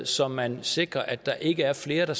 så man sikrer at der ikke er flere